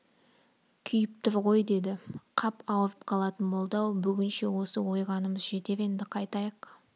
күйіп тұр ғой деді қап ауырып қалатын болды-ау бүгінше осы ойғанымыз жетер енді қайтайық